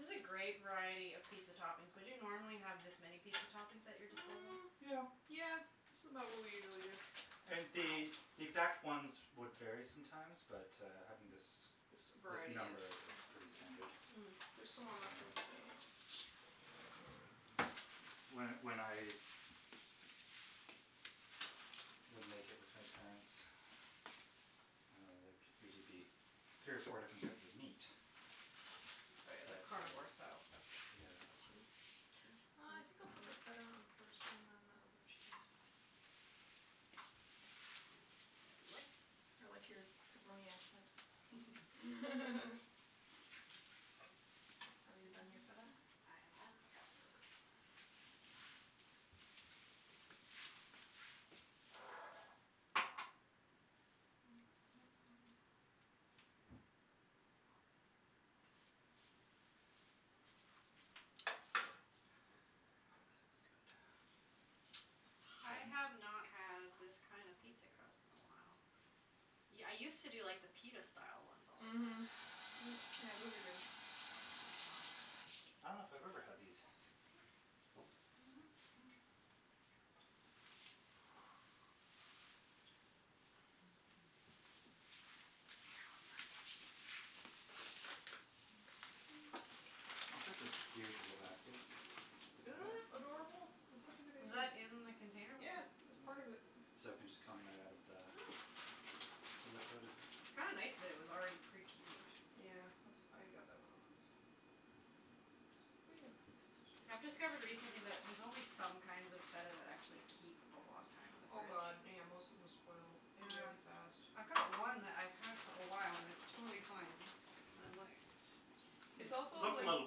This is a great variety of pizza toppings. Would you normally have this many pizza toppings at your disposal? Mm, Yeah. yeah. This is about what we usually do. And the Wow. the exact ones would vary sometimes but, uh, having this This this variety number is is pretty standard. Mm. There's some more mushrooms Um if anyone wants extra. When when I would make it with my parents, uh, there'd usually be three or four different types of meat. Oh, yeah, that But, uh carnivore style stuff. Yeah. Cheese? Cheese? Uh, I think I'll put the feta on it first and then the other cheese. K, we'll get out of the way. I like your pepperoni accent. Have you done your feta? I have done the feta. Okay. This is good. I have not had this kind of pizza crust in a while. Yeah, I used to do like the pita style ones all the time. Mhm. Yeah, those are good. I dunno if I've ever had these. Okay, just Oh, this is cute the little basket with the Isn't feta. that adorable? It's such a good Was idea. that in the container with Yeah, the it was part of it. So it can just come right out of the the liquid. Kinda nice that it was already pre-cubed. Yeah, als- I got that one on purpose. We have enough I've things to do. discovered recently that there's only some kinds of feta that actually keep a long time in the Oh, fridge. god, yeah. Most of them spoil Yeah. really fast. I've got one that I've had for a while and it's totally fine. I'm like It's also Looks a like little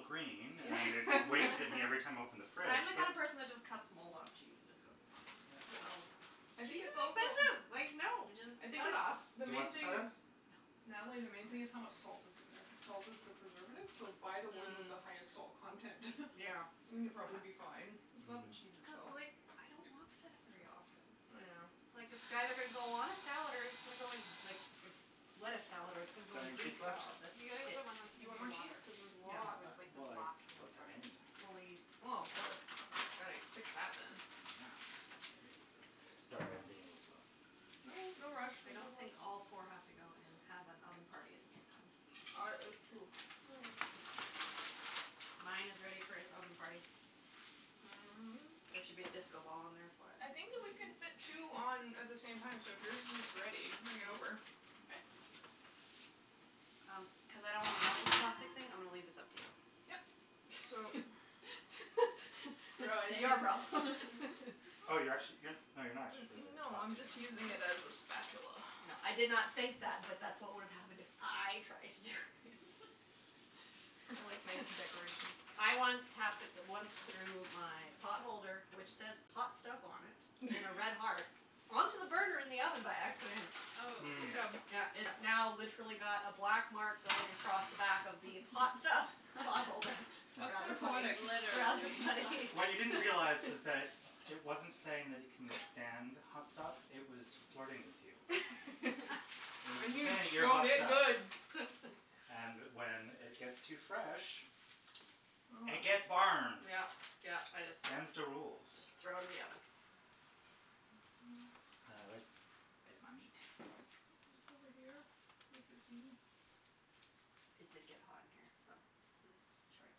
green and it it's waves at me every time I open the fridge I'm the but kind of person that just cuts mold off cheese and just goes, "It's fine." Yeah. I think Cheese it's is also expensive, like, no, just I think cut it it's, off. Do the you main want some thing feta? is No. Natalie, the main thing this is how much salt is in there cuz salt is the preservative, so buy the one with Mm. the highest salt content. Yeah. It's And a you'll good probably be point. fine. It's not the cheese Mm. Cuz, itself. like, I don't want feta very often. Yeah. It's like, it's either gonna go on a salad or it's gonna go in like a lettuce salad or it's gonna Is go there in a any Greek cheese left? salad, that's You gotta get it. the one that's Do you in want the more cheese? water, Cuz there's Yeah. lots. where it's like the Well, I block in don't the have brine any. stuff. Fully Well, gotta fix that, then. Yeah, cherries. Sorry, I'm being a little slow. No, no rush, we I have don't think lots. all four have to go in and have an oven party at the same time. Ar- it's true. Mine is ready for its oven party. There should be a disco ball in there for it. I think that we can fit two on at the same time, so if yours is ready, bring it over. Okay. Um, cuz I don't wanna melt this plastic thing, I'm gonna leave this up to you. Yep. So Your problem. Oh, you're actu- you're No, you're not actually putting the No, I'm plastic in, just using okay. it as a spatula. No, I did not think that, but that's what would have happened if I tried to do it. I like to make decorations. I once hap- once threw my pot holder, which says "hot stuff" on it in a red heart, onto the burner in the oven by accident. Good Mm. job. Yeah, it's now literally got a black mark going across the back of the "hot stuff" pot holder. That's kind Rather of funny. poetic. Rather Literally. funny. What you didn't realize was that it wasn't saying that it can withstand hot stuff; it was flirting with you. It was And just you saying you're showed hot it stuff. good. And when it gets too fresh, it gets burned. Yeah, yeah, I just Them's the rules. Just throw in the oven. Uh, where's, where's my meat? It's over here with your sweetie. It did get hot in here, so short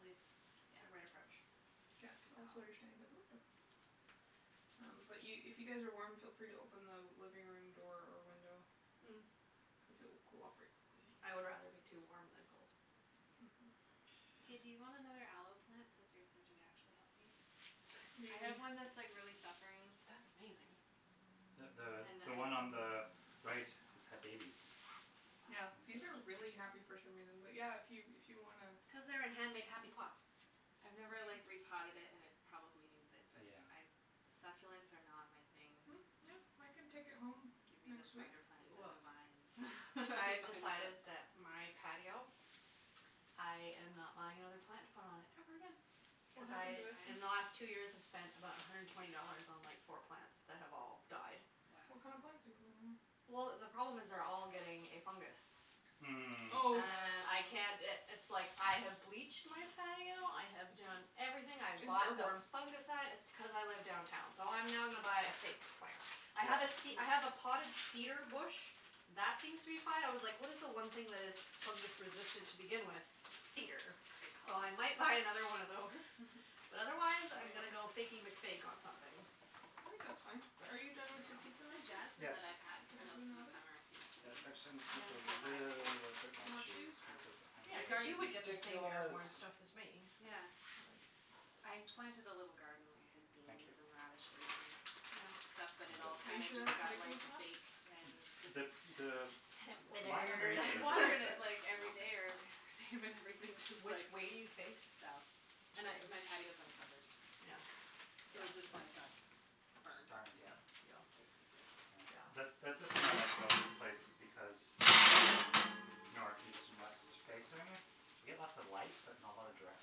sleeves, Yeah. the right approach. Yes, Good call. also you're standing by the window. Um, but you, if you guys are warm, feel free to open the living room door or window cuz it will cool off very quickly in Hm, I would here. rather be too warm than cold. Mhm. Hey, do you want another aloe plant since yours seem to be actually healthy? What do I you need? have one that's, like, really suffering. That's amazing. The the And I the one on the right has had babies. Yeah, In Wow. these are fact. really happy for some reason, but yeah, if you, if you wanna Cuz they're in hand made happy pots. I've never, That's true. like, repotted it and it probably needs it. But Yeah. I, succulents are not my thing. Mm, yeah, I can take it home Give me the next week. spider plants and the vines. I've I'm fine with decided it. that my patio, I am not buying another plant to put on it ever again. What happened Because to it? In the they last two die? years I've spent about a hundred and twenty dollars on like four plants that have all died. Wow. What kind of plants are you putting in there? Well, the problem is they're all getting a fungus. Mm. Oh. Oh. And I can't i- it's, like, I have bleached my patio, I have done everything. I have It's bought the airborne. fungicide. It's t- cuz I live downtown, so I'm now gonna buy a fake plant. I Yeah. have a ce- I have a Hm. potted cedar bush that seems to be fine. I was like what is the one thing that is fungus-resistant to begin with? Cedar. Good So call. I might buy another one of those. But otherwise I'm gonna Yeah. go Fakey McFake on something. I think that's fine. Are you done with your pizza, The Matthew? jasmine that Yes. I've had Can I put most in the of the oven? summer seems to be Yes, not actually, so I'm just gonna put a bad, you little know. bit more More cheese? cheese because I'm Yeah, going cuz to be you would get the same ridiculous. airborne stuff as me. Yeah. I planted a little garden. I had Thank you. beans and radishes and stuff, but I'm it good. all Are you kinda sure just that's got like ridiculous enough? baked and just The, the line Withered. underneath I it is really watered it, thick. like, every day or Okay. every other day, but everything just, like Which way do you face? South. And I, my patio is uncovered. Yeah. So it just like got Just burned. burned, yeah. Yeah, Yeah. basically. Yeah. That, Yeah. that's the thing I like about this place because it's all north, east and west facing. We get lots of light, but not a lot of direct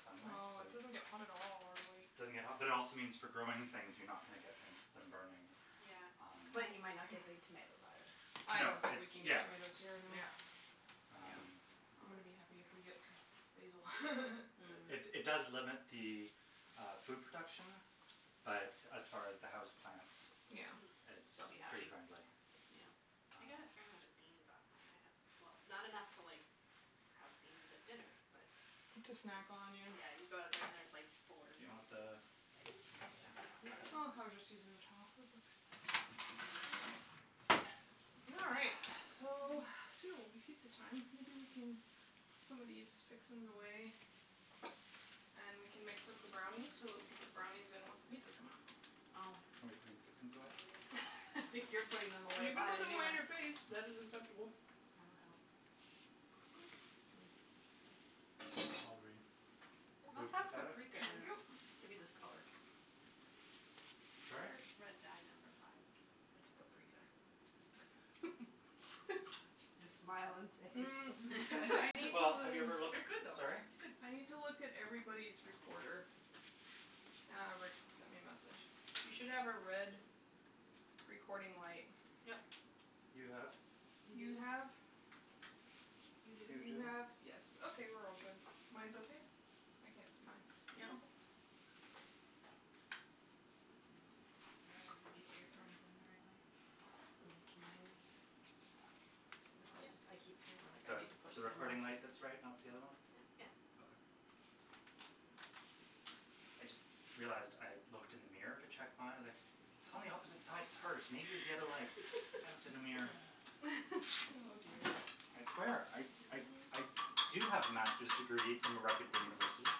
sunlight, No, so it it doesn't get hot at all, really. doesn't get hot, but it also means for growing things you're not gonna get them them burning. Yeah. Um But you might not get big tomatoes, either. I No, don't think it's, we can get yeah. tomatoes here anyway. Yeah. Yeah. Um I'm gonna be happy if we get some basil. It, it Hm. does limit the uh food production, but as far as the house plants Yeah. Hm. it's They'll be pretty happy. friendly. Yeah. Um I got a fair amount of beans off mine, I had Well, not enough to like have beans at dinner, but To it snack on, was yeah. Yeah, you go out there and there's, like, four Do you green want the beans, just, like, snap them off and eat Oh, them. I was just using the towel, it's okay. All right. So, soon it will be pizza time. Maybe we can put some of these fixings away and we can mix up the brownies so that we can put the brownies in once the pizzas come out. Oh. Oh, we're putting fixings away? I think you're putting them away, You can buy put a them new away in one. your face. That is acceptable. I will help. Are we It good must with the have feta? paprika in Thank you. it to be this color. Sorry? Or Red Dye Number Five. It's paprika. Just smile and say it's Mm, paprika. I need Well, have you ever to looked, It could though. sorry? It's good. I need to look at everybody's recorder. Ah, Rick sent me a message. You should have a red recording light. Yep. You have. You You do? have You You You do. do? have, yes, okay, we're all good. Mine's okay? I can't see mine. Yeah. Okay. Are All everybody's right. earphones in the right way? Mm, mine. No they just I keep feeling like So I need to it's push the them in more. recording light that's right, not the other one? Yeah. Yes. Okay. I just realized I looked in the mirror to check my, like It's on the opposite side, it's hers, maybe it was the other light. I looked in the mirror. Oh dear. I swear I, I, I do have a master's degree from a reputable university.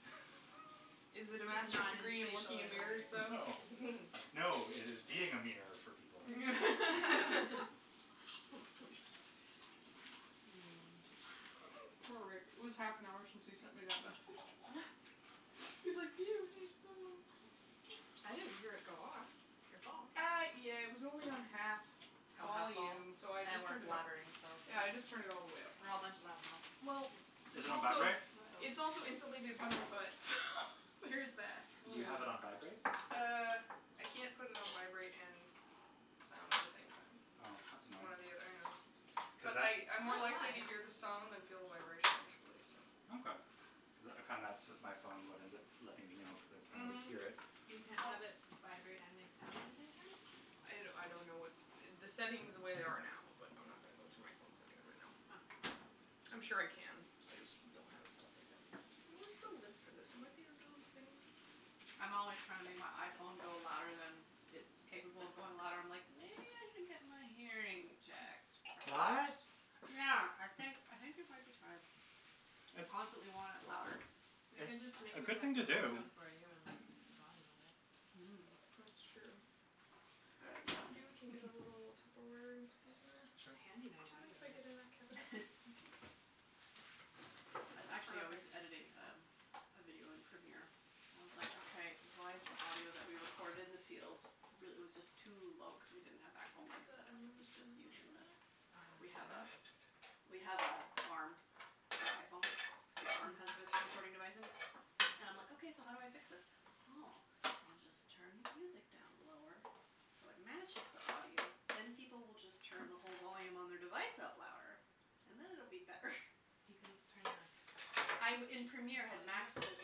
Is it a Just master's not in degree in spacial looking in mirrors, engineering. though? No. No, it is being a mirror for people. Poor Rick. It was half an hour since he sent me that message. He's like, I didn't hear it go off, your phone. Uh, yeah, it was only on half Have half vol? volume, so I And just we're turned it up. blabbering, so Yeah, I just turned it all the way up. We're all a bunch of loud mouths. Yep. Well Is It's it on also vibrate? It's also insulated by my butt, so there is that. Do you have it on vibrate? Mm. Uh, I can't put it on vibrate and sound at the same time. Oh, that's It's one annoying. or the othe- I know. Cuz But that I, I'm more likely to hear the sound than feel the vibration, actually, so Okay. Cuz I found that's with my phone what ends up letting me know because I can't always Mhm. hear it. You can't Well have it vibrate and make sound at the same time? I d- I don't know what, the settings the way they are now, but I'm not gonna go through my phone settings right now. Oh. I'm sure I can, I just don't have it set up like that. Where's the lid for this? It might be under those things. I'm always trying to make my iPhone go louder than it's capable of going loud. I'm like, "Maybe I should get my hearing checked, What? perhaps." Yeah. I think I think it might be time. I It's constantly want it louder. I can It's just make a a good test thing to and ring do. tone for you and like increase the volume of it. That's Mm. true. That's a Maybe we can get good a little idea. Tupperware Sure. It's handy Do you knowing mind if I get in that cabinet? Thank you. I, actually I was Perfect. editing um a video in Premiere and I was like, "Okay, why is the audio that we recorded in the field real- " it was just too low cuz we didn't have Can actual you put mikes the set up, it onions was just and using mushroom the in there? We have a, we have a arm for iPhone, so the arm has the recording device in it and I'm like, "Okay, so how do I fix this?" "Oh, I'll just turn the music down lower so it matches the audio, then people will just turn the whole volume on their device up louder and then it'll be better." You can turn the I b- in Premiere, I had maxed it as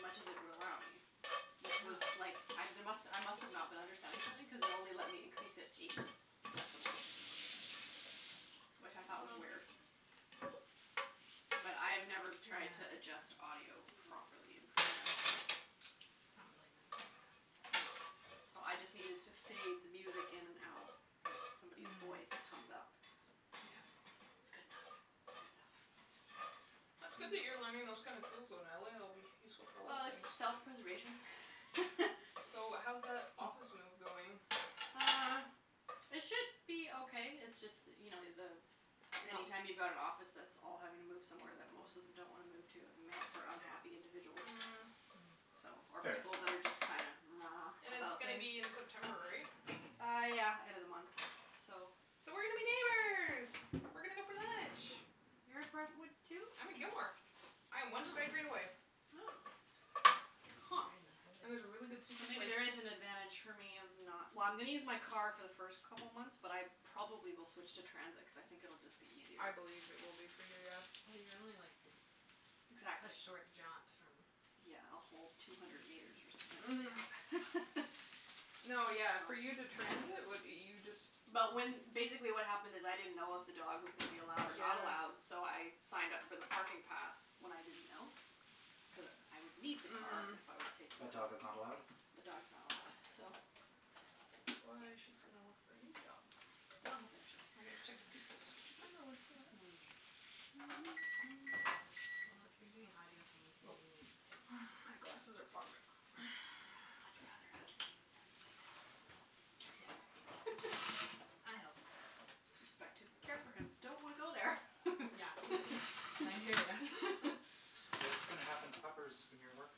much as it would allow me, which was, like, I d- must, I must have not been understanding something cuz it only let me increase it Wow. eight decibels, which I thought was weird. Well. But I've never tried to adjust audio Yeah. properly in Premiere, so It's not really meant for that. No, so I just needed to fade the music in and out and somebody's Mm. voice comes up. Yeah. It's good enough, it's good enough. It's good that you're learning those kind of tools, though, Natalie. It'll be useful for a lot of Well, it's things. self-preservation. So, how's that office move going? Uh, it should be okay. It's just that you know, the, any No. time you've got an office that's all having to move somewhere that most of them don't wanna move to, it makes for unhappy individuals. Mm So, or Fair. people that are just kind And of it's about gonna things. be in September, right? Uh, yeah, end of the month, so So we're gonna be neighbors! We're gonna go for lunch. You're at Brentwood, too? I'm at Gilmore. I am one SkyTrain away. Oh. Huh. And there's a really good So sushi maybe place. there is an advantage for me of not Well, I'm gonna use my car for the first couple months, but I probably will switch to transit cuz I think it'll just be I easier. believe it will be for you, yeah. Well, you're only, like, a Exactly. short jaunt from Yeah, a whole two hundred meters or something. Mhm. No, yeah, for you to transit, what, you just But when, basically what happened is, I didn't know if the dog was gonna be allowed or not Yeah. allowed, so I signed up for the parking pass when I didn't know, cuz I would need the car Mhm. if I was taking But the dog. dog is not allowed? The dog's not allowed, so That's why she's gonna look for a new job. Well, eventually. I gotta check the pizzas. Did you find the lid for that? Well, if you're doing audio things and Nope. you need tips, My just glasses are fogged up. I would much rather ask you than my ex. Yeah. I help. Respect him, care for him, don't want to go there. Yeah. And I hear ya. What's gonna happen to Puppers when you're at work?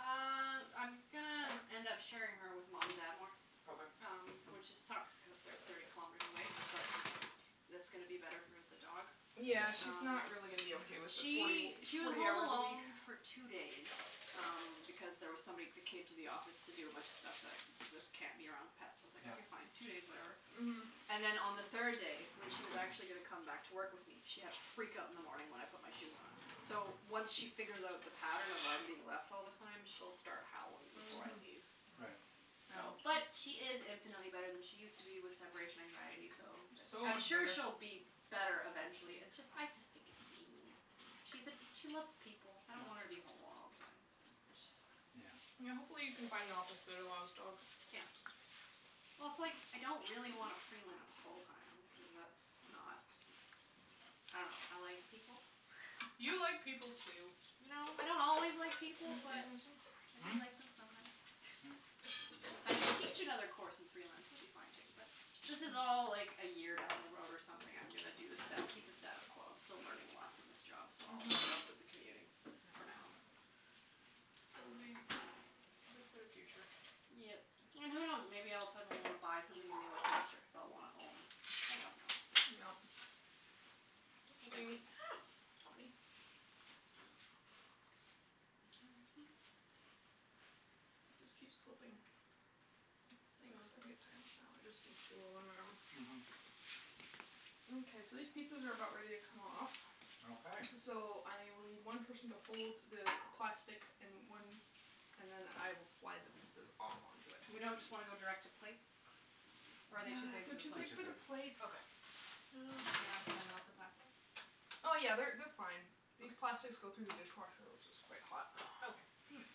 Uh, I'm gonna end up sharing her with mom and dad more. Okay. Um, which it sucks cuz they're thirty kilometers away, but that's gonna be better for the dog. Yeah. Yeah, she's Um, not really gonna be okay with the forty she, w- she was forty home hours a week. alone for two days um because there was somebody that came to the office to do a bunch of stuff that that can't be around pets, so I was like, Yeah. "Okay, fine, two days, whatever." Mhm. And then on the third day, when she was actually gonna come back to work with me, she had a freakout in the morning when I put my shoes on. So, once she figures out the pattern of "I'm being left all the time", she'll start howling before I Mhm. leave. Right. So, Yeah. but she is infinitely better than she used to be with separation anxiety, so It's so I'm much sure better. she'll be better eventually. It's just, I just think it's mean. She's a, she loves people. I don't want her Yeah. to be home alone all the time. That just sucks. Yeah. Yeah, hopefully you can find an office that allows dogs. Yeah. Well, it's, like, I don't really wanna freelance full time cuz that's not, I dunno, I like people. You like people, too. You know? I don't always like Can you people, put these but in the sink? I do Hmm? like them sometimes. Yeah. But if I could teach another course and freelance, that would be fine, too, but this is all like a year down the road or something I'm gonna do the sta- keep the status quo. I'm still learning lots in this job, so I'll Mhm. put up with the commuting for now. It'll be good for the future. Yep. And who knows? Maybe I'll suddenly wanna buy something in New Westminster because I'll wanna own. I don't know. Yep. This I don't thing know. Help me. It just keeps slipping. Thanks, I think it's high enough now. It just was too low on my arm. Mhm. Mkay, so these pizzas are about ready to come off. Okay. So I will need one person to hold the plastic and one, and then I will slide the pizzas off onto it. We don't just wanna go direct to plates? Or are they too big for They're the They're too big plates? too for the big. plates. Okay. Oh, crap. They're not gonna melt the plastic? Oh, yeah, they're they're fine. These plastics go through the dishwasher which is quite hot. Okay. Hm.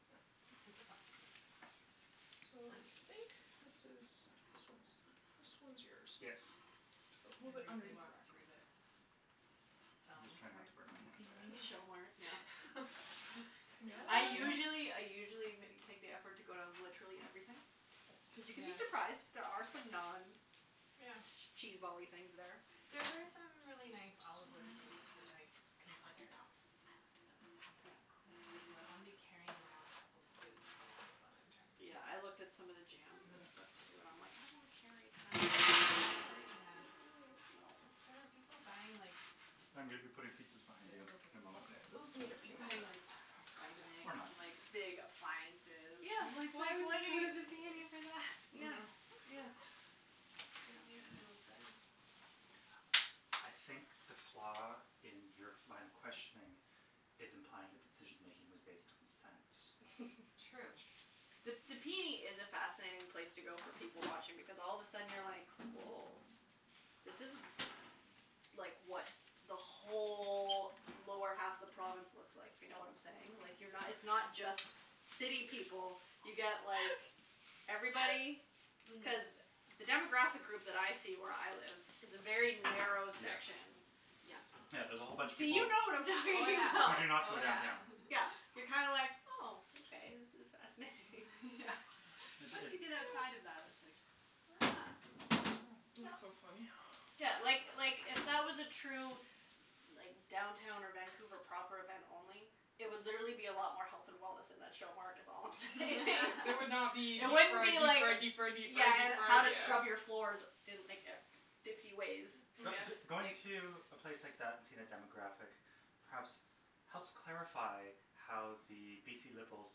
Yep. Super plastic. So, I think this is, this one's done. This one's yours. Yes. So a little I bit briefly underneath the walked rack. through the I'm just selling trying not part to burn my in the hand. p I n know. e. Show mart, yeah. I usually, I usually ma- take the effort to go down to literally everything. Cuz you can be Yeah. surprised. There are some Yeah. non-cheesebally things there. There were some really nice olive wood spoons which I I looked at considered. those, I looked at those. I was Yeah. like, "Cool, but do I wanna be carrying around a couple of spoons all night while I'm trying to take Yeah, I looked at pictures some of the jams and stuff, too, and I'm like, "I don't wanna carry like, Yeah. no." There were people buying like I'm gonna be putting pizzas behind The, you in a okay moment. Okay, those need a few more Buying minutes. like Vitamix, Or not. like big appliances. Yeah, Like, it's why like would what are you go to the p n e for that? you Yeah, Mm. Yeah. yeah. I It don't get makes it. no sense. I think the flaw in your line of questioning is implying the decision-making was based on sense. True. The the p n e is a fascinating place to go for people-watching because all of a sudden you're like, woah, this is, like, what the whole lower half of the province looks like, if you know what I'm saying. Like, you're not, it's not just city people. You get like everybody. Mhm. Cuz the demographic group that I see where I live is a very narrow Yes. section. Yeah. Yeah, there's a whole bunch of So you people know what I'm Oh talking who about. do yeah, not go oh yeah. downtown. Yeah, you're kind of like, oh, okay, this is fascinating. Yeah. Yeah. It, Once you get it outside of that, that's like, huh. Yeah, Yeah. That's so yeah. funny. Yeah, like, like, if that was a true like downtown or Vancouver proper event only, it would literally be a lot more health and wellness in that show mart is all I'm saying. It would not be deep It wouldn't fried, be deep like fried, deep fried, deep Yeah, fried, deep and how fried, to yeah. scrub your floors in like e- fifty ways. Mm yeah. But b- going to a place like that and seeing a demographic perhaps helps clarify how the BC Liberals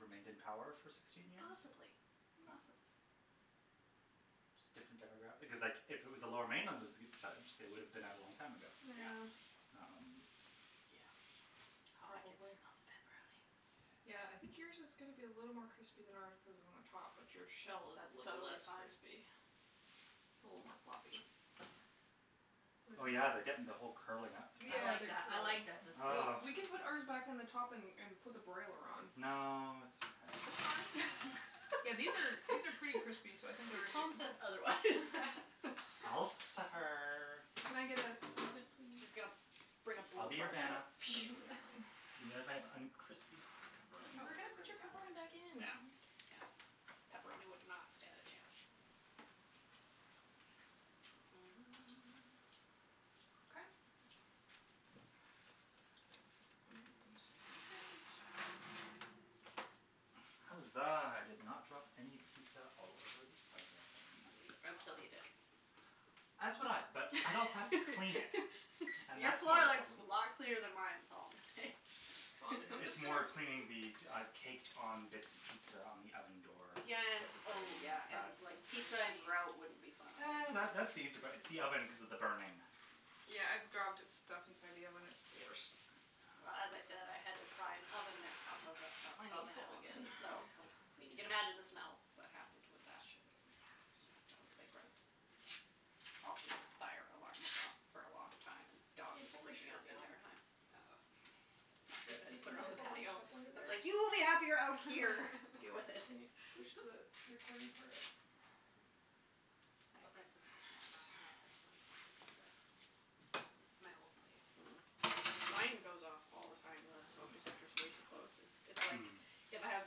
remained in power for sixteen years. Possibly, possibly. Just different demograph- because, like, if it was the Lower Mainland that was judged, they would have been out a long time ago. Yeah. Um Yeah. Oh, I can smell Probably. the pepperoni. Yeah, I think yours is gonna be a little more crispy than ours cuz we're on the top, but your shell is That's little totally less fine. crispy. It's a little more floppy. Oh, But it yeah, they're getting the whole curling up thing. I Yeah, like they're that, I like curling. that, that's Well, Ugh good. we can put ours back on the top and and put the broiler on. No, it's It's fine. okay. Yeah, these are, these are pretty crispy, so I think they're Your ready to tone come says out. otherwise. I'll suffer. Can I get a assistant, She's just please? gonna bring a I'll be your blowtorch out. Vanna. Thank you, darling. Even if I have uncrispy That would pepperoni. We're probably gonna work put really your well, pepperoni back actually. in, No, calm your yeah, tits. pepperoni would not stand a chance. Okay. Mm, excuse my reach. Huzzah, I did not drop any pizza all over the oven. I'd still eat it. As would I, but I'd also have to clean it and Your that's more floor the looks problem. a lot cleaner than mine is all I'm gonna say. Well, I'm j- I'm It's just gonna more cleaning the, uh, caked on bits of pizza on the oven door Yeah and, that would burn. oh yeah, and, That's like, pizza and grout wouldn't be fun either. That that's the easy part, it's the oven cuz of the burning. Yeah, I've dropped it stuff inside the oven; it's the worst. Well as I said, I had to pry an oven mitt off of a, of I need oven help element, again. so Help, you please. can imagine the smells that happened with that. Let's shove Yeah, that it was a bit gross. Also, the fire alarm went off for a long time and the Can dog you was pull my freaking out shirt the down? entire time. It was not Yes, good. I do had you to see put her how on the it's all bunched patio. up under I was there? like, "You will be happier out here." "Deal with it." Can you push the recording part up? I Up. set the smoke alarm off in my Thanks. place once making pizza. My old place. Mm. Mine goes off all the time. The smoke detector's way too close. It's, it's like Mm. if I have